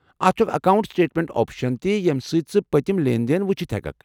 اتھ چھُ اکھ اکاونٛٹ سٹیٹمنٛٹ آپشن ییٚمہِ سۭتۍ ژٕ پٔتِم لین دین وٗچھِتھ ہیككھ ۔